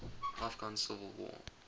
afghan civil war